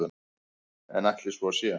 En ætli svo sé?